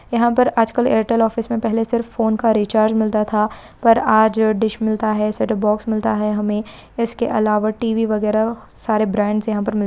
यहा पर आजकल एयरटेल ऑफिस मे पहले सिर्फ फोन का रीचार्ज मिलता था पर आज डिश मिलता है सेटअप बॉक्स मिलता है हमे इसके अलावा टी_वी वगैरा सारे ब्राण्ड्स यहा पर मिल--